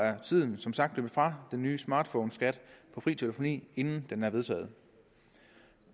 at tiden som sagt er løbet fra den nye smartphoneskat på fri telefoni inden den er vedtaget